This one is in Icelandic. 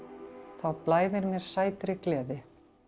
þá blæðir mér sætri gleði